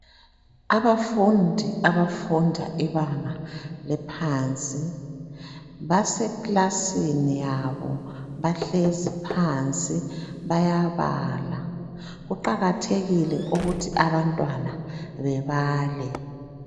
Abafundi abafunda ibanga laphansi basekilasini yabo bahlezi phansi bayabala. Kuqakathekile ukuthi abantwana bebale.